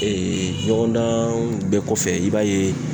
ɲɔgɔndan bɛɛ kɔfɛ i b'a ye.